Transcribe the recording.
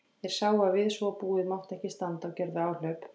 Þeir sáu að við svo búið mátti ekki standa og gerðu áhlaup.